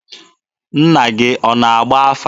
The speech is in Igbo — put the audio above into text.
Nna gị ọ na-agba afa?